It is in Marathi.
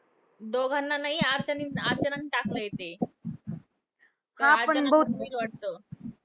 दोघांना नाही अर्चनानीच अर्चनानी टाकलंय ते. अर्चनाचं होईल वाटतं evict.